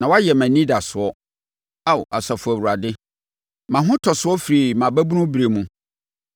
Na woayɛ mʼanidasoɔ, Ao Asafo Awurade, mʼahotɔsoɔ firi mʼababunu berɛ mu.